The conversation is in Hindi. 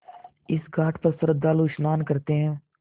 इस घाट पर श्रद्धालु स्नान करते हैं